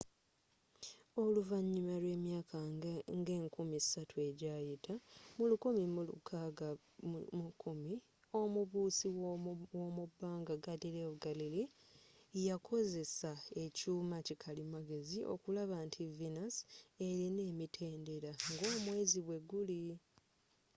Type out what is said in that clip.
oluvanyuma lw'emyaka nga enkumi satu ejayita mu 1610 omubuusi womubanga galileo galilei yakozesanga ekyuuma kikalimagezi okulaba nti venus elina emitendera nga omweezi bweguli